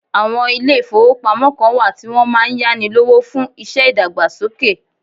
Àwọn ilé ìfọwọ́pamo kàn wá tí wọn máà ń yáni lówó fún iṣẹ́ ìdàgbàsókè.